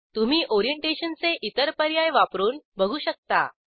तुम्ही ओरिएंटेशनचे इतर पर्याय वापरून बघू शकता